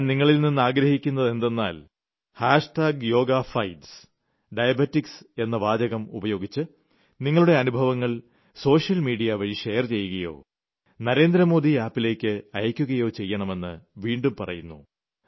ഞാൻ നിങ്ങളിൽനിന്ന് ആഗ്രഹിക്കുന്നത് എന്തെന്നാൽ ഹാഷ്ടാഗ് യോഗ ഫൈറ്റ്സ് ഡയബെറ്റിക്സ് എന്ന വാചകം ഉപയോഗിച്ച് നിങ്ങളുടെ അനുഭവങ്ങൾ സോഷ്യൽ മീഡിയ വഴി ഷെയർ ചെയ്യുകയോ നരേന്ദ്രമോദി App ലേയ്ക്ക് അയയ്ക്കുകയോ ചെയ്യണമെന്ന് വീണ്ടും പറയുന്നു